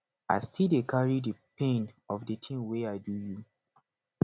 i still dey carry di pain of di tin wey i do you